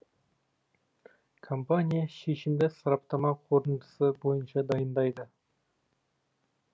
компания шешімді сараптама қорытындысы бойынша дайындайды